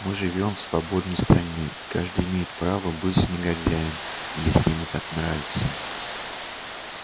мы живём в свободной стране и каждый имеет право быть негодяем если ему так нравится